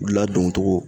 Ladon cogo